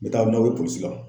N be taa n'aw ye polisi la.